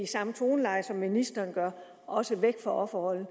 samme toner som ministeren gjorde også væk fra offerrollen